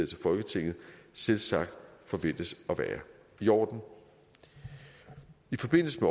til folketinget selvsagt forventes at være i orden i forbindelse